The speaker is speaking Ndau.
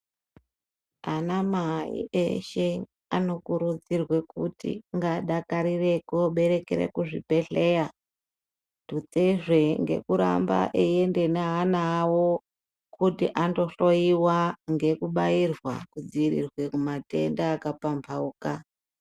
Ana Mai eshe anokurudzirwe kuti ngaadakarire kooberekera kuzvibhedhleya tutsezve ngekuramba eienda neana awo kuti andohloyiwa ngekubairwa kudzivirirwe kumatenda akapamphauka.